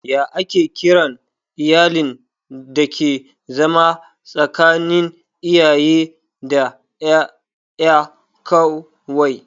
Ya ake kiran iyalin dake zama tsakanin iyaye da ƴaƴa kawai?